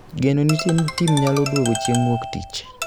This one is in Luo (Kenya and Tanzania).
Geno nitie ni tim nyalo duogo chieng wuok tich